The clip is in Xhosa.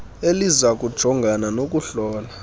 eliza kujongana nokuhlola